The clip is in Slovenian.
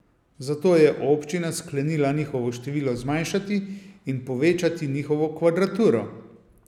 Zato je občina sklenila njihovo število zmanjšati in povečati njihovo kvadraturo.